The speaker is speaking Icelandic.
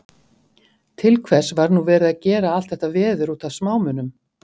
Til hvers var nú verið að gera allt þetta veður út af smámunum?